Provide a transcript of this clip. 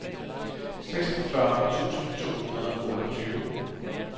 seksogfyrre tusind to hundrede og otteogtyve